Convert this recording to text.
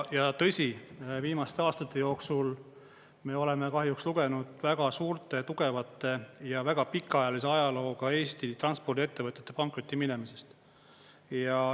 Ja tõsi, viimaste aastate jooksul me oleme kahjuks lugenud väga suurte tugevate ja väga pikaajalise ajalooga Eesti transpordiettevõtete pankrotti minemisest.